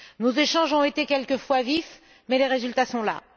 Nos échanges ont été quelquefois vifs, mais les résultats sont là.